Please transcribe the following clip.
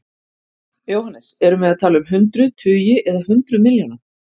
Jóhannes: Erum við að tala um hundruð, tugi eða hundruð milljóna?